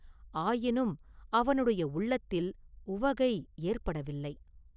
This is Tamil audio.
ஆயினும் அவனுடைய உள்ளத்தில் உவகை ஏற்படவில்லை.